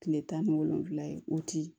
Kile tan ni wolonfila ye o ti